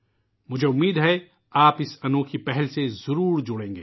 مجھے امید ہے کہ آپ اس انوکھی پہل سے ضرور جڑیں گے